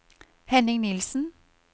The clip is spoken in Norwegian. Henning Nilsen